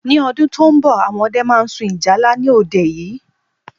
Ní odún to n bò, àwọn ọdẹ ma sun ìjálá ni òde yìí.